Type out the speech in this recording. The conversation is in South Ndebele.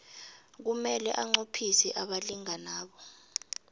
kumele anqophise abalinganabo